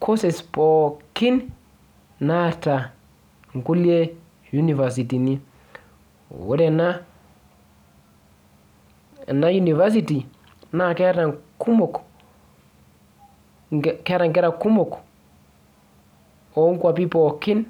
courses pookin naata inkulie univasitini. Ore ena University, na keeta nkumok, keeta nkera kumok onkwapi pookin